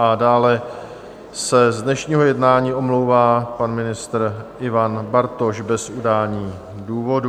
A dále se z dnešního jednání omlouvá pan ministr Ivan Bartoš bez udání důvodu.